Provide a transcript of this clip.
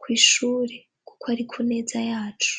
kw'ishure kuko ari ku neza yacu.